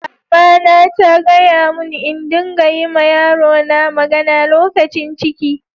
Mama na ta gaya mun n'dinga yi ma yaro na magana lokacin ciki.